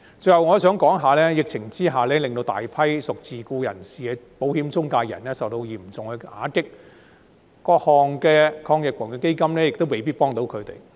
最後，我還想說說疫情下令大批屬自僱人士的保險中介人受到嚴重打擊，各項防疫抗疫基金亦未必可以幫到他們。